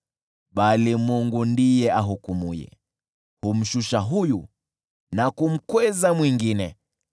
Bali Mungu ndiye ahukumuye: Humshusha huyu na kumkweza mwingine.